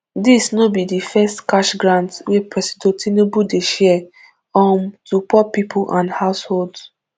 dis no be di first cash grant wey presido tinubu dey share um to poor pipo and households